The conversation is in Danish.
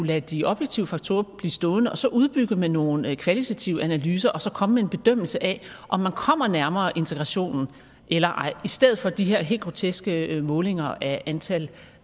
lade de objektive faktorer blive stående og så udbygge med nogle kvalitative analyser og komme med en bedømmelse af om man kommer nærmere integrationen eller ej i stedet for de her helt groteske målinger af antal